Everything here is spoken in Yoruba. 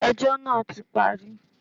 Ẹjọ́ náà ti parí.